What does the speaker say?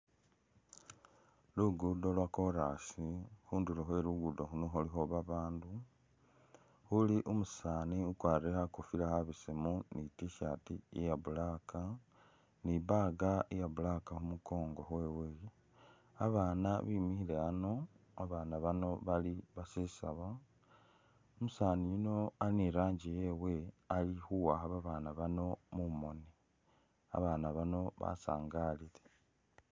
Luguudo lwa kolas, khundulo khwe Luguudo luno khulikho babaandu khuli umusaani ukwarire khakofila khabesemu ni i't-shirt iya Black ni i'bag iya black khu mukongo khwewe. Abaana bimikhile ano, abaana bano bali basesaba, umusaani yuno ali ni i'rangi yewe ali khuwakha babana bano mumoni, babaana bano basangalile.